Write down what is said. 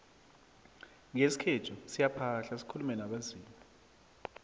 ngesikhethu siyaphahla sikulume nabezimu